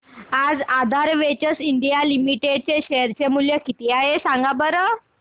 आज Aadhaar ventures India limited चे share चे मूल्य किती आहे सांगा बरं